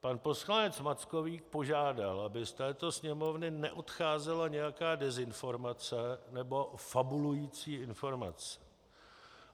Pan poslanec Mackovík požádal, aby z této Sněmovny neodcházela nějaká dezinformace nebo fabulující informace.